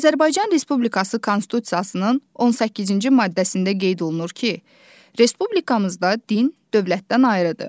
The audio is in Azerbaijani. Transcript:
Azərbaycan Respublikası Konstitusiyasının 18-ci maddəsində qeyd olunur ki, Respublikamızda din dövlətdən ayrıdır.